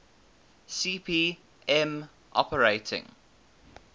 cp m operating